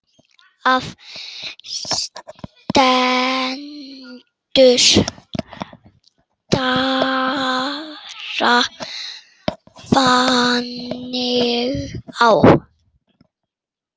Það stendur bara þannig á.